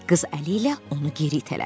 Qız əli ilə onu geri itələdi.